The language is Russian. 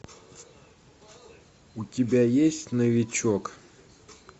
у тебя есть новичок